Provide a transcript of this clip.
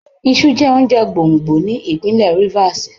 Iṣu jẹ́ oúnjẹ gbòǹgbò ní ìpínlẹ̀ Rivers.